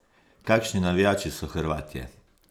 Kakšni navijači so Hrvatje?